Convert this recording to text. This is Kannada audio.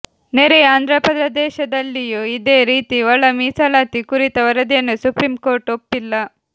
ನೆರೆಯ ಆಂಧ್ರಪ್ರದೇಶದಲ್ಲಿಯೂ ಇದೇ ರೀತಿ ಒಳ ಮೀಸಲಾತಿ ಕುರಿತ ವರದಿಯನ್ನು ಸುಪ್ರೀಂ ಕೋರ್ಟ್ ಒಪ್ಪಿಲ್ಲ